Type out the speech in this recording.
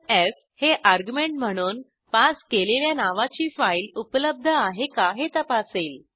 F हे argument म्हणून pass केलेल्या नावाची फाईल उपलब्ध आहे का हे तपासेल